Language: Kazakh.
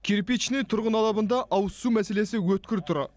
кирпичный тұрғын алабында ауызсу мәселесі өткір тұр